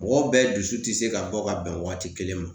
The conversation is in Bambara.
Mɔgɔw bɛɛ dusu tɛ se ka bɔ ka bɛn waati kelen ma .